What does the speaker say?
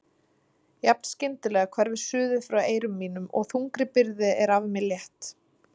Jafn skyndilega hverfur suðið frá eyrum mínum og þungri byrði er af mér létt.